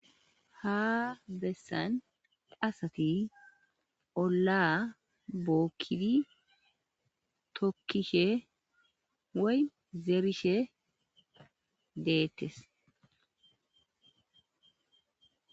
Ha besan asati olaa bokidi tokishe woyi zerishe de'etes